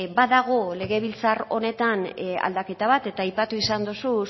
badago legebiltzar honetan aldaketa bat eta aipatu izan duzu